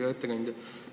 Hea ettekandja!